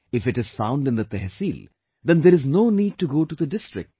If it is found in Tehsil, then there is no need to go to the district